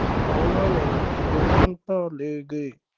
ਉਨ੍ਹਾਂ ਨੇ ਗਏ।